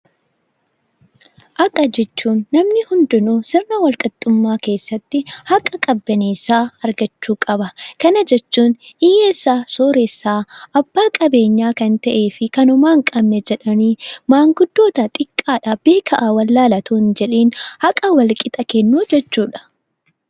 Haqa jechuun namni hundinuu sirna wal-qixxummaa keessatti haqa qabbanneessaa argachuu qaba. Kana jechuun hiyyeessa, sooressa, abbaa qabeenyaa kan ta'ee fi kan homaa hin qabne jedhanii manguddoota, xiqqaa, beekaa, wallaalaa osoo hin jedhiin haqa walqixa ta'e kennuu jechuudha.